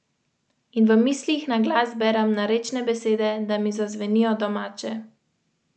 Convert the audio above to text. Salonit je odlično začel srečanje, njegovim igralcem se je videlo, da so motivirani.